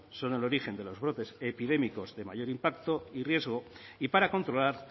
son el origen de los brotes epidémicos de mayor impacto y riesgo y para controlar